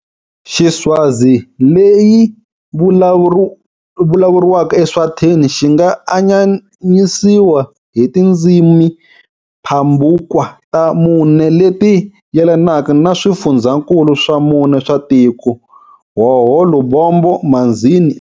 Xiswazi leyi vulavuriwaka eEswatini xi nga anyanyisiwa hi tindzimimpambukwa ta mune leti yelanaka na swifundzhankulu swa mune swa tiko-Hhohho, Lubombo, Manzini.